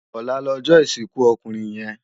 Òlá lòjò isinkú òkúnrin yèn